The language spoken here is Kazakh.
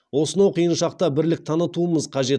осынау қиын шақта бірлік танытуымыз қажет